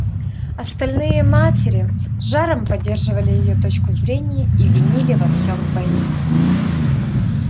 остальные матери с жаром поддерживали её точку зрения и винили во всём войну